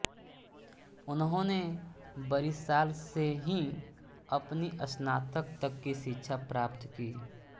उन्होंने बरिशाल से ही अपनी स्नातक तक शिक्षा प्राप्त की